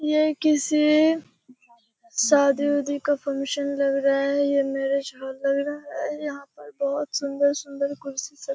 ये किसी शादी उदी का फंक्‍शन लग रहा है। ये मैरिज हॉल लग रहा है। यहाँ पर बहुत सुन्‍दर-सुन्‍दर कुर्सी सब --